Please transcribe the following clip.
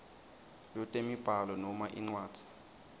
lwetemibhalo noma incwadzi